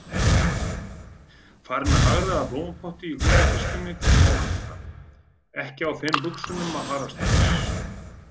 Farin að hagræða blómapotti í gluggakistunni til málamynda, ekki á þeim buxunum að fara strax.